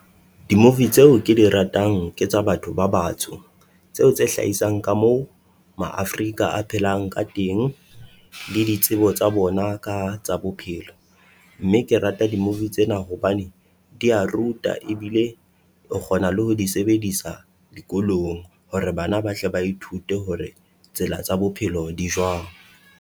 Di-movie tseo ke di ratang ke tsa batho ba batsho, tseo tse hlahisang ka mo Ma-afrika a phelang ka teng le ditsebo tsa bona ka tsa bophelo. Mme ke rata di-movie tsena hobane dia ruta ebile o kgona le ho di sebedisa dikolong hore bana ba tle ba ithute hore tsela tsa bophelo di jwang.